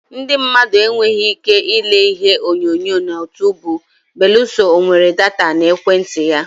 Ndị mmadụ enweghị ike ile Ihe onyonyo na Utuubu belụsọ o nwere data na ekwentị ya.